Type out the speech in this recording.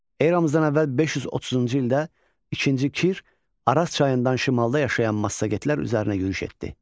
Eramızdan əvvəl 530-cu ildə ikinci Kir Araz çayından şimalda yaşayan massagetlər üzərinə yürüş etdi.